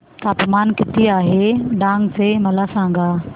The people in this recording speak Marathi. तापमान किती आहे डांग चे मला सांगा